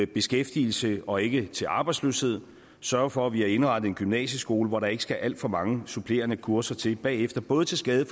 beskæftigelse og ikke til arbejdsløshed sørge for at vi har indrettet en gymnasieskole hvor der ikke skal alt for mange supplerende kurser til bagefter både til skade